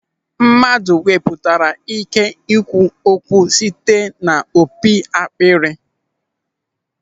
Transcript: Mmadụ wepụtara ị́ké ikwu okwu site n'opi akpịrị.